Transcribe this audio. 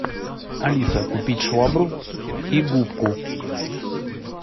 алиса купить швабру и губку